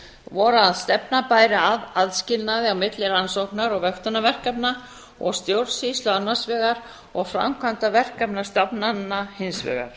voru að stefna bæri að aðskilnaði á milli rannsóknar og vöktunarverkefna og stjórnsýslu annars vegar og framkvæmda verkefna stofnana hins vegar